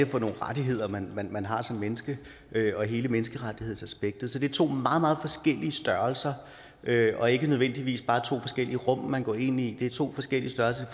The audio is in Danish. for nogle rettigheder man man har som menneske hele menneskerettighedsaspektet så det er to meget meget forskellige størrelser og ikke nødvendigvis bare to forskellige rum man går ind i det er to forskellige størrelser og